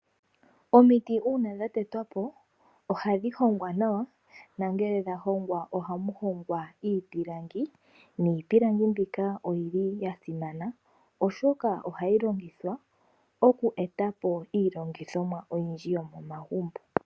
Omiti uuna dha tetwapo ohadhi hongwa nawa nongele dha longwa iipilangi niipulangi mbika oyili ya simana oshoka ohayi longithwa iku etapo iilongomwa oyindji yomomagumbo